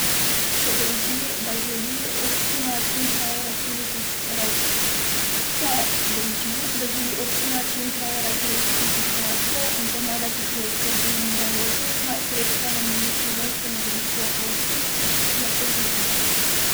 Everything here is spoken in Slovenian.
Če drži, da želi občina čim prej razrešiti situacijo in pomagati pri oskrbi umirajočih, naj sredstva nameni Slovenskemu društvu Hospic, je povedala.